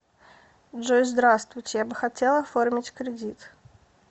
джой здравствуйте я бы хотел оформить кредит